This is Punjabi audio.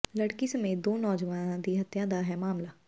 ਲੜਕੀ ਸਮੇਤ ਦੋ ਨੌਜਵਾਨਾਂ ਦੀ ਹੱਤਿਆ ਦਾ ਹੈ ਮਾਮਲਾ